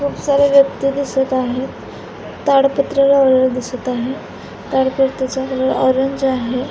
खूप सारे व्यक्ति दिसत आहेत ताडपत्री लावलेल दिसत आहे ताडपत्रीचा कलर ऑरेंज आहे.